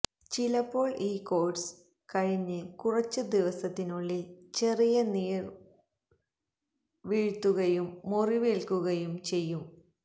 ചിലപ്പോൾ ഈ കോഴ്സ് കഴിഞ്ഞ് കുറച്ച് ദിവസത്തിനുള്ളിൽ ചെറിയ നീർവീഴ്ത്തുകയും മുറിവേൽക്കുകയും ചെയ്യും